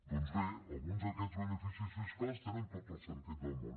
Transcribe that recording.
doncs bé alguns d’aquests beneficis fiscals tenen tot el sentit del món